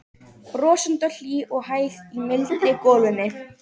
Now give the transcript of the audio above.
Brosandi og hlý og hæg í mildri golunni.